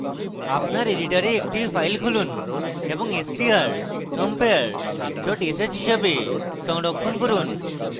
আপনার editor একটি file খুলুন এবং strcompare dot sh হিসাবে সংরক্ষণ করুন